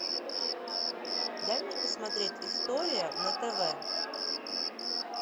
дай мне посмотреть история на тв